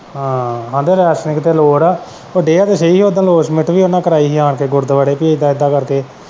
ਹਾਂ ਆਂਦੇ ਰੈਸਲਿੰਗ ਤੇ ਲੋੜ ਐ ਪਰ ਕਿਆ ਤਾਂ ਸੀ ਓਦਾਂ ਲੋਸਮੈਂਟ ਵੀ ਕਰਾਈ ਉਨਾਂ ਨੇ ਆਣ ਕੇ ਗੁਰਦੁਆਰੇ ਪੀ ਇਦਾਂ ਇਦਾਂ ਕਰਕੇ।